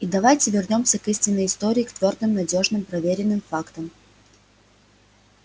и давайте вернёмся к истинной истории к твёрдым надёжным проверенным фактам